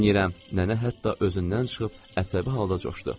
Nənə hətta özündən çıxıb əsəbi halda coşdu.